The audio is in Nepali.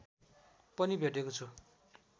पनि भेटेको छु